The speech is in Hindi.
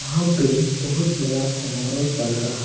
यहाँ पे बहुत बड़ा समारोह चल रहा--